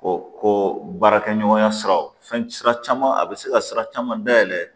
ko baarakɛ ɲɔgɔnya siraw fɛn sira caman a be se ka sira caman dayɛlɛ